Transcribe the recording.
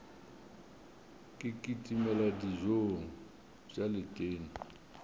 ke kitimele dijong tša letena